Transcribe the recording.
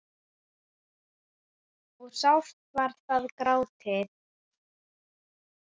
og sárt var þar grátið.